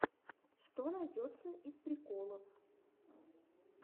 что найдется из приколов